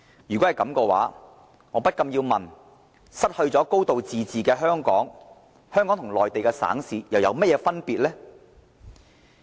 如果是這樣，我不禁要問，失去"高度自治"的香港，和內地省市又有何分別？